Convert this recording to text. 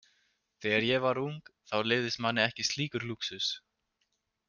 Þegar ég var ung þá leyfðist manni ekki slíkur lúxus.